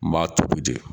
N b'a tobi de